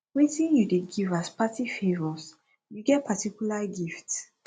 wetin you dey give as party favors you get particular gift